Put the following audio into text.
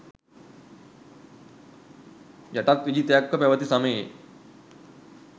යටත් විජිතයක්ව පැවති සමයේ